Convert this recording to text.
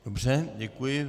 Dobře, děkuji.